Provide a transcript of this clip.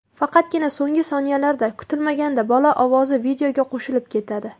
Faqatgina so‘nggi soniyalarda kutilmaganda bola ovozi videoga qo‘shilib ketadi.